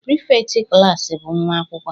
Prịfektị klas bụ nwa akwụkwọ